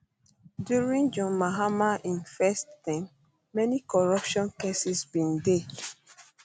during john mahama im first term many corruption cases bin dey